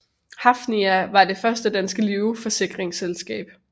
Hafnia var det første danske livsforsikringsselskab